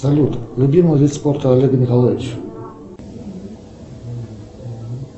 салют любимый вид спорта олега николаевича